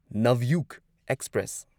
Navyuga express